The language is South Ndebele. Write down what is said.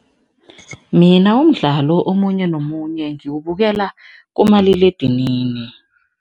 Mina umdlalo omunye nomunye ngiwubukela kumaliledinini.